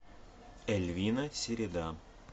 эльвина середа